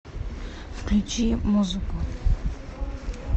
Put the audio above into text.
включи музыку